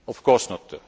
country of course